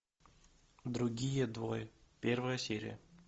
другие двое первая серия